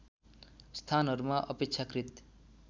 स्थानहरूमा अपेक्षाकृत